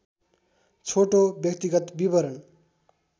छोटो व्यक्तिगत विवरण